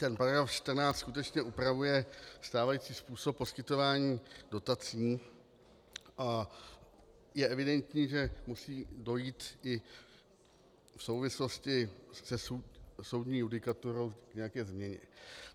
Ten paragraf 14 skutečně upravuje stávající způsob poskytování dotací a je evidentní, že musí dojít i v souvislosti se soudní judikaturou k nějaké změně.